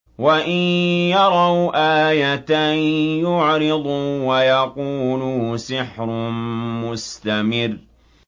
وَإِن يَرَوْا آيَةً يُعْرِضُوا وَيَقُولُوا سِحْرٌ مُّسْتَمِرٌّ